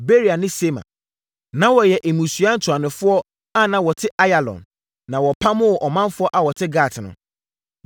Beria ne Sema. Na wɔyɛ mmusua ntuanofoɔ a na wɔte Ayalon, na wɔpamoo ɔmanfoɔ a wɔte Gat no.